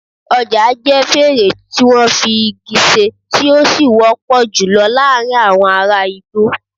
ojà jẹ fèrè tí wọ́n fi igi ṣe, tí ó sì wọ́pọ̀ jù lọ láàárín àwọn ará igbó